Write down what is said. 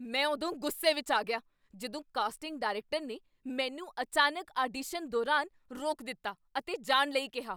ਮੈਂ ਉਦੋਂ ਗੁੱਸੇ ਵਿੱਚ ਆ ਗਿਆ ਜਦੋਂ ਕਾਸਟਿੰਗ ਡਾਇਰੈਕਟਰ ਨੇ ਮੈਨੂੰ ਅਚਾਨਕ ਆਡੀਸ਼ਨ ਦੌਰਾਨ ਰੋਕ ਦਿੱਤਾ ਅਤੇ ਜਾਣ ਲਈ ਕਿਹਾ।